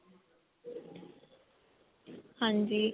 ਹਾਂਜੀ